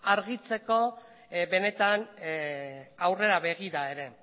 argitzeko benetan aurrera begira ere